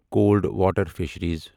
cold water fisheries